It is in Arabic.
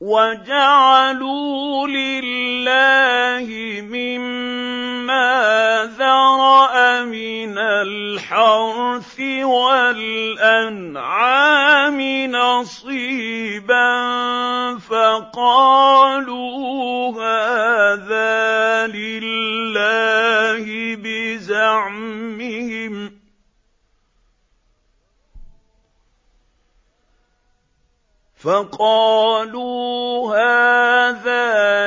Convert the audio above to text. وَجَعَلُوا لِلَّهِ مِمَّا ذَرَأَ مِنَ الْحَرْثِ وَالْأَنْعَامِ نَصِيبًا فَقَالُوا هَٰذَا